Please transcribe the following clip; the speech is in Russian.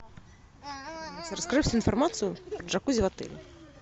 расскажи всю информацию о джакузи в отеле